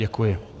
Děkuji.